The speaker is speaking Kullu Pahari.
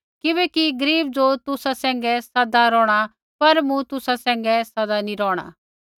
किबैकि गरीब ज़ो तुसा सैंघै सदा रौहणा सा पर मूँ तुसा सैंघै सदा नैंई रौहणा